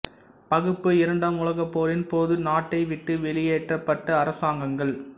பகுப்புஇரண்டாம் உலகப் போரின் போது நாட்டை விட்டு வெளியேற்றப்பட்ட அரசாங்கங்கள்